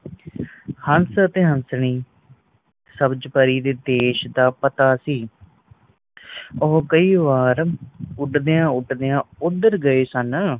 ਹੱਸ ਤੇ ਹੰਸਨੀ ਸਬਜ ਪਰੀ ਦੇ ਦੇਸ਼ ਦਾ ਪਤਾ ਸੀ ਉਹ ਕੇਈ ਵਾਰ ਉਡਦਿਆਂ ਉਡਦਿਆਂ ਉਧਰ ਗਏ ਸਨ